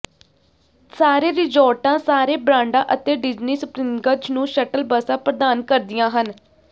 ਸਾਰੇ ਰਿਜ਼ੋਰਟਾਂ ਸਾਰੇ ਬਰਾਂਡਾਂ ਅਤੇ ਡਿਜ਼ਨੀ ਸਪ੍ਰਿੰਗਜ਼ ਨੂੰ ਸ਼ਟਲ ਬੱਸਾਂ ਪ੍ਰਦਾਨ ਕਰਦੀਆਂ ਹਨ